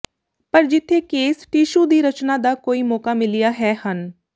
ਪਰ ਜਿੱਥੇ case tissue ਦੀ ਰਚਨਾ ਦਾ ਕੋਈ ਮੌਕਾ ਮਿਲਿਆ ਹੈ ਹਨ